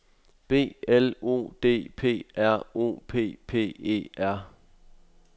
B L O D P R O P P E R